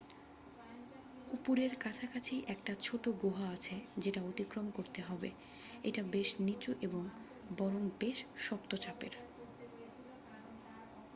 উপরের কাছাকাছি একটা ছোট গুহা আছে যেটা অতিক্রম করতে হবে এটা বেশ নিচু এবং বরং বেশ শক্ত চাপের